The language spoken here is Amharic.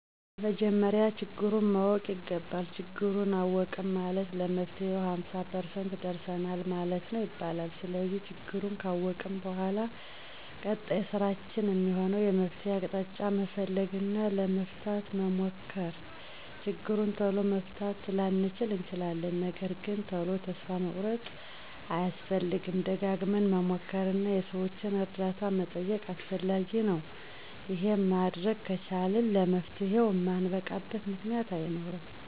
በመጀመሪያ ችግሩን ማወቅ ይገባል። ችግሩን አወቅን ማለት ለመፍትሄው ሃምሳ ፐርሰንት ደርሰናል ማለት ነው ይባላል። ስለዚህ ችግሩን ካወቅን በኃላ ቀጣይ ስራችን እሚሆነው የመፍትሄ አቅጣጫ መፈለግ እና ለመፍታት መሞከር። ችግሩን ቶሎ መፍታት ላንችል እንችላለን ነገርግን ቶሎ ተስፋ መቁረጥ አያስፈልግም። ደጋግመን መሞከር እና የሠዎችን እርዳታ መጠየቅ አስፈላጊ ነው። ይሄን ማድረግ ከቻልን ለመፍትሄው እማንበቃበት ምክንያት አይኖርም።